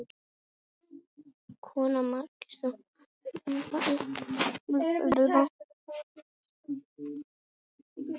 Kona Magnúsar var Sigríður, dóttir Guðnýjar og Jóns prófasts Guðmundssonar á Norðfirði.